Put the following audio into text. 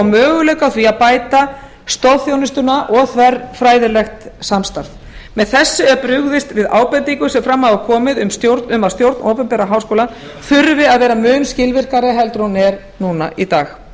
möguleika á því að bæta stoðþjónustuna og þverfræðilegt samstarf með þessu er brugðist við ábendingum sem fram hafa komið um að stjórn opinberra háskóla þurfi að verða mun skilvirkari heldur en hún er núna í dag